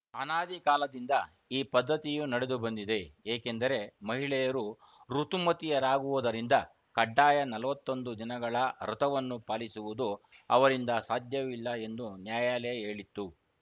ಅನಾದಿ ಕಾಲದಿಂದ ಈ ಪದ್ಧತಿಯು ನಡೆದುಬಂದಿದೆ ಏಕೆಂದರೆ ಮಹಿಳೆಯರು ಋುತುಮತಿಯರಾಗುವುದರಿಂದ ಕಡ್ಡಾಯ ನಲವತ್ತೊಂದು ದಿನಗಳ ವ್ರತವನ್ನು ಪಾಲಿಸುವುದು ಅವರಿಂದ ಸಾಧ್ಯವಿಲ್ಲ ಎಂದು ನ್ಯಾಯಾಲಯ ಹೇಳಿತ್ತು